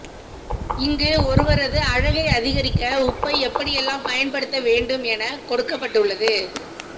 இங்கு ஒருவரது அழகை அதிகரிக்க உப்பை எப்படியெல்லாம் பயன்படுத்த வேண்டும் என கொடுக்கப்பட்டுள்ளது